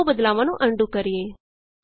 ਆਉ ਬਦਲਾਵਾਂ ਨੂੰ ਅਨਡੂ ਕਰੀਏ